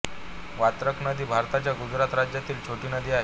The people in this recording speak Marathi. वात्रक नदी भारताच्या गुजरात राज्यातील छोटी नदी आहे